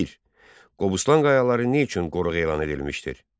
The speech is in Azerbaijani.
1. Qobustan qayaları nə üçün qoruq elan edilmişdir?